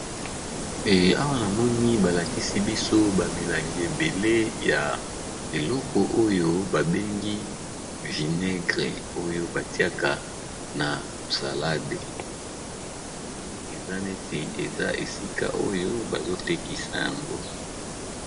Awa namoni ba lakisi biso ba milangi ebele ya eleko oyo ba bengi vinaigre oyo batiaka na salade, namoni eza neti eza esika oyo bazo tekisa yango.